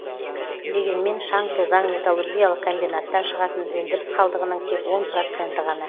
дегенмен шаң тозаң металлургиялық комбинаттан шығатын өндіріс қалдығының тек он проценті ғана